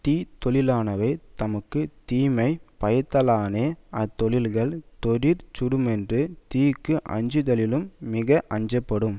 தீத்தொழிலானவை தமக்கு தீமை பயத்தலானே அத்தொழில்கள் தொடிற் சுடுமென்று தீக்கு அஞ்சுதலினும் மிக அஞ்சப்படும்